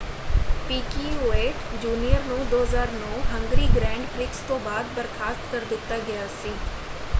Piquet Junior ਨੂੰ 2009 Hungary Grand Prix ਤੋਂ ਬਾਅਦ ਬਰਖਾਸਤ ਕਰ ਦਿੱਤਾ ਗਿਆ ਸੀ।